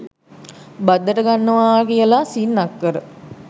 බද්දට ගන්නවා කියල සින්නක්කර